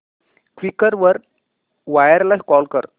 Quikr वर buyer ला call कर